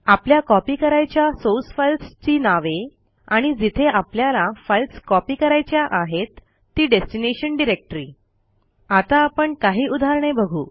आपल्या कॉपी करायच्या source files ची नावे आणि जिथे आपल्याला फाईल्स कॉपी करायच्या आहेत ती डेस्टिनेशन डायरेक्टरी आता आपण काही उदाहरणे बघू